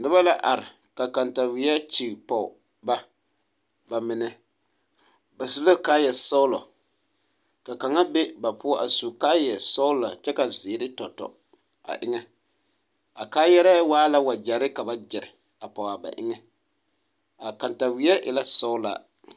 Noba la are ka kataweɛ kyigi pɔge ba ba mine ba su la kaayasɔglɔ ka kaŋa be ba poɔ a su kaayasɔglɔ kyɛ ka zeere tɔ tɔ a eŋɛ a kaayɛrɛɛ waa la wagyɛre ka ba gyere a pɔge a ba eŋɛ a kataweɛ e la sɔglaa.